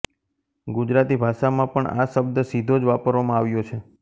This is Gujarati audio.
ગુજરાતી ભાષામાં પણ આ શબ્દ સીધો જ વાપરવામાં આવ્યો છે